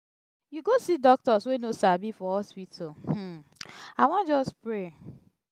you go see doctors wey no sabi for hospital. i wan just pray.